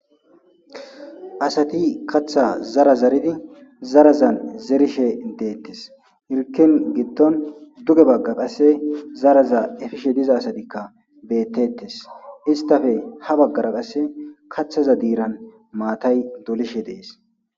Asati kaththa zara zaridi zarazan zerishe detees hirkkin giddon duge bagga qasse zaraza effishe diza asatikka betteetees isttape ha baggara qasse kaththaza diiran maatay dolishe dees.